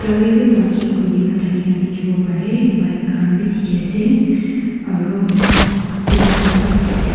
ri wi parking kuri kena thakina dikhiwo pare aro tina khan bi dikhi ase.